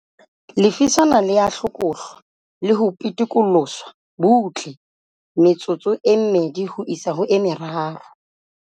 Lefiswana le a hlokohlwa le ho pitikoloswa butle metsotso e mmedi ho isa ho e meraro.